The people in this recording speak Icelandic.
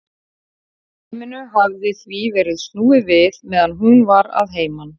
Dæminu hafði því verið snúið við meðan hún var að heiman.